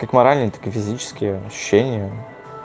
как морально так и физические ощущения